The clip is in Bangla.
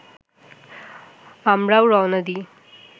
আমরাও রওনা দিই